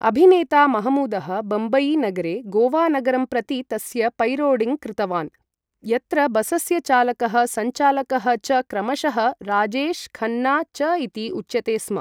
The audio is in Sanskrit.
अभिनेता महमूदः बम्बईनगरे गोवानगरं प्रति तस्य पैरोडीं कृतवान् यत्र बसस्य चालकः संचालकः च क्रमशः 'राजेश', 'खन्ना' च इति उच्यते स्म ।